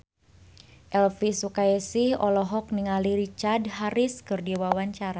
Elvy Sukaesih olohok ningali Richard Harris keur diwawancara